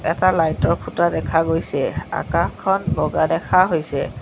এটা লাইট ৰ খুঁটা দেখা গৈছে আকাশখন বগা দেখা হৈছে।